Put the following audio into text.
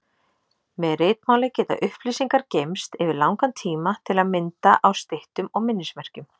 Með ritmáli geta upplýsingar geymst yfir langan tíma, til að mynda á styttum og minnismerkjum.